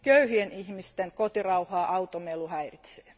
Köyhien ihmisten kotirauhaa automelu häiritsee.